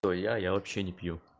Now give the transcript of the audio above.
то я я вообще не пью